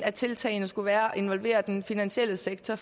af tiltagene skulle være at involvere den finansielle sektor